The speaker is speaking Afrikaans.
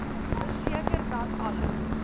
verseker dat alle